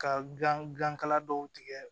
Ka gilan gilan kala dɔw tigɛ